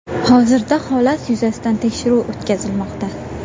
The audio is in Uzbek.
Hozirda holat yuzasidan tekshiruv o‘tkazilmoqda.